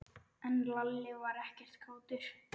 En Lalli var ekkert kátur.